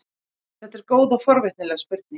þetta er góð og forvitnileg spurning